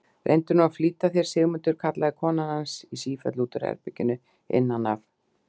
Reyndu nú að flýta þér, Sigmundur, kallaði konan hans í sífellu úr herberginu innan af.